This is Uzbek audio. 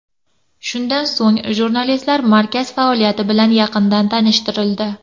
Shundan so‘ng, jurnalistlar markaz faoliyati bilan yaqindan tanishtirildi.